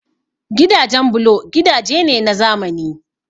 Gidajen bulo gidaje ne na zamani